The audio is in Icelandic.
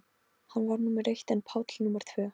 Hann var númer eitt en Páll númer tvö.